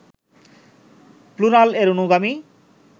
plural এর অনুগামী